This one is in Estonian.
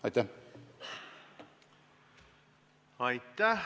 Aitäh!